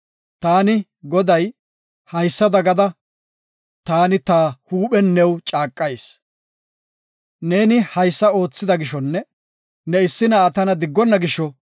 “Taani Goday, haysada gada taani ta huuphen new caaqayis; neeni haysa oothida gishonne ne issi na7aa tana diggona gisho,